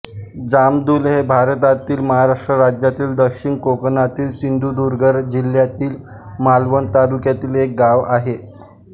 जामदुल हे भारतातील महाराष्ट्र राज्यातील दक्षिण कोकणातील सिंधुदुर्ग जिल्ह्यातील मालवण तालुक्यातील एक गाव आहे